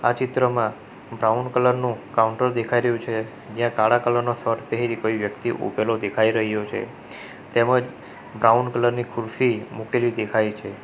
આ ચિત્રમાં brown colour નું કાઉન્ટર દેખાઈ રહ્યું છે જ્યાં કાળા કલર નો શર્ટ પહેરી કોઈ વ્યક્તિ ઉભેલો દેખાઈ રહ્યો છે તેમજ બ્રાઉન કલર ની ખુરશી મુકેલી દેખાય છે.